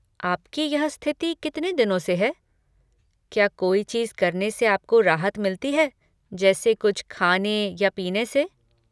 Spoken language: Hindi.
आपकी यह स्थिति कितने दिनों से है, क्या कोई चीज़ करने से आपको राहत मिलती है जैसे कुछ खाने या पीने से?